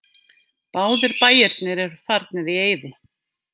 Báðir bæirnir eru farnir í eyði.